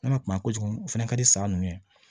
N'a ma kuma kojugu o fɛnɛ ka di sa nunnu ye